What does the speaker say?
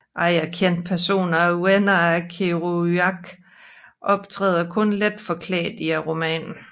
Andre kendte personer og venner af Kerouac optræder kun let forklædte i romanen